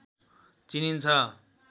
चिनिन्छ